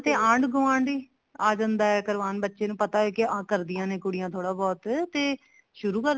ਤੇ ਆਂਢ ਗੁਵਾਂਢ ਹੀ ਆ ਜਾਂਦਾ ਹੈ ਕਰਵਾਉਣ ਬੱਚੇ ਨੂੰ ਪਤਾ ਹੈ ਕੀ ਆਹ ਕਰਦਿਆਂ ਨੇ ਕੁੜੀਆਂ ਥੋੜਾ ਬਹੁਤ ਤੇ ਸ਼ੁਰੂ ਕਰ